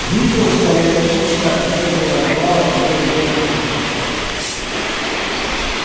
дмитровская электричка медлила давала илье время одуматься